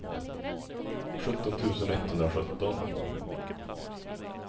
sjutton tusen etthundrasjutton